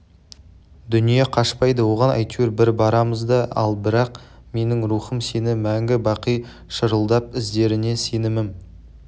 дүние қашпайды оған әйтеуір бір барамыз да ал бірақ менің рухым сені мәңгі-бақи шырылдап іздеріне сенімім